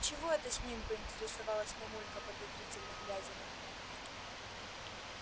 чего это с ним поинтересовалась мамулька подозрительно глядя на меня